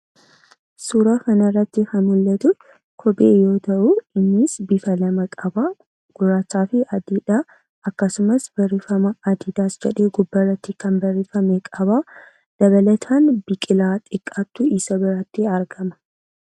Suuraa kanarratti kan mul'atu kophee yoo ta'u, innis bifa lama qabaa: gurraachaa fi adiidhaa. Akkasumas barreeffama 'Adiidaas' jedhee gubbaarratti kan barreeffame qabaa. Dabalataan, biqilaa xiqqaatu isa biratti argama.